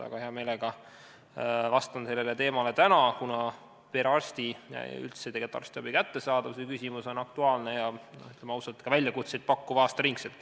Aga hea meelega vastan sellele täna, kuna perearsti ja üldse arstiabi kättesaadavuse küsimus on aktuaalne ja, ütleme ausalt, ka väljakutseid pakkuv aasta ringi.